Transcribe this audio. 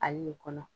Ale nin kɔnɔ